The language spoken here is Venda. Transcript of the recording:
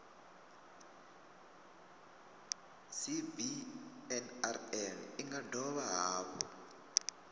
cbnrm i nga dovha hafhu